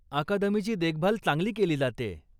अकादमीची देखभाल चांगली केली जातेय.